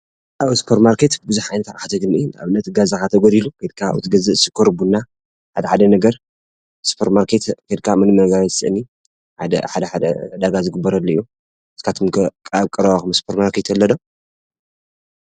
አብ ሱፐር ማርኬት ቡዙሕ ዓይነት አቅሓ ተግንዩ ። ንአብነት ገዛካ እንተጎዲሉ ኬድካ አብኡ ትገዝእ። ሽኮር ፣ቡና ሓደ ሓደ ነገር ሱፐር ማርኬት ኬድካ ምንም ነገር አይትስእንን። ሓደ ሓደ ዕዳጋ ዝግበረሉ እዩ። ንስካትኩም ከ አብ ቀረባኩም ሱፐር ማርኬት አሎ ዶ?